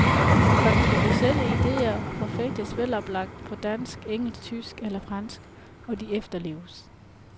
Kontroversielle ideer forfægtes veloplagt på dansk, engelsk, tysk eller fransk, og de efterleves.